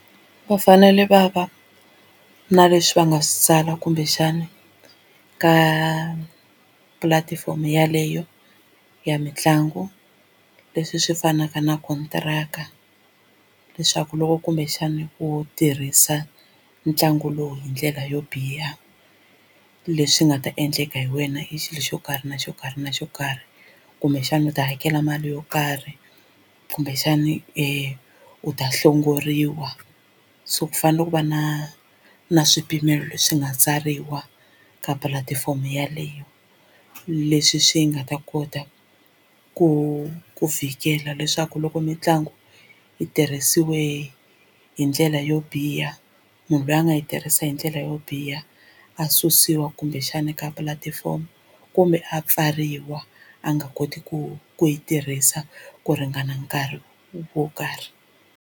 Va fanele va va na leswi va nga swi tsala kumbexana ka pulatifomo yeleyo ya mitlangu leswi swi fanaka na kontiraka leswaku loko kumbexani u tirhisa ntlangu lowu hi ndlela yo biha leswi nga ta endleka hi wena i xilo xo karhi na xo karhi na xo karhi kumbexana u ta hakela mali yo karhi kumbexani u ta hlongoriwa so ku fanele ku va na na swipimelo leswi nga tsariwa ka pulatifomo yeleyo leswi swi nga ta kota ku ku fikela leswaku loko mitlangu yi tirhisiwe hi ndlela yo biha munhu loyi a nga yi tirhisa hi ndlela yo biha a susiwa kumbexana ka pulatifomo kumbe a pfariwa a nga koti ku ku yi tirhisa ku ringana nkarhi wo karhi.